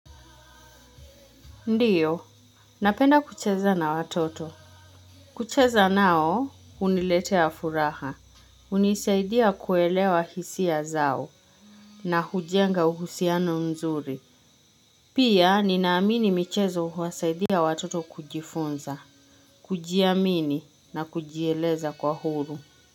Ndiyo napenda kucheza na watoto kucheza nao huniletea furaha hunisaidia kuelewa hisia zao na hujenga uhusiano mzuri pia ninaamini michezo huwasaidia watoto kujifunza kujiamini na kujieleza kwa huru.